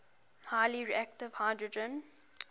highly reactive hydrogen